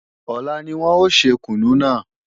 Ọ̀la ni wọ́n ò ṣe kùnú náà